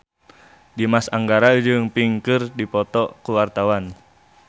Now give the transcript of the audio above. Dimas Anggara jeung Pink keur dipoto ku wartawan